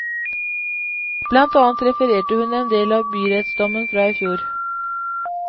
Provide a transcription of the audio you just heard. Blant annet refererte hun endel av byrettsdommen fra i fjor.